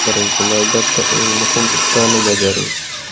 Birinchi navbatda eng muhim ishlarni bajaring.